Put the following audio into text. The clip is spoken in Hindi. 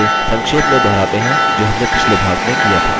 हमने अपने fullname और username के टैग्स स्ट्रिप किये थे